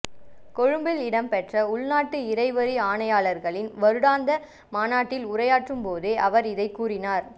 கொழும்பில் இடம்பெற்ற உள்நாட்டு இறைவரி ஆணையாளர்களின் வருடாந்த மாநாட்டில் உரையாற்றும் போதே அவர் இதனைக் கூறினார்